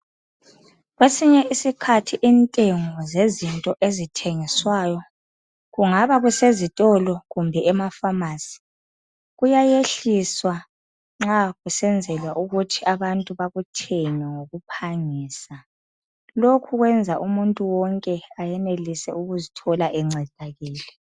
Kwesinye isikhathi intengo zezinto ezithengiswayo kungaba kusezitolo kumbe emafamasi. Kuyayehliswa nxa kusenzelwa ukuthi abantu bakuthenge ngokuphangisa. Lokhu kwenza umuntu wonke ayenelise ukuzithole encedakele.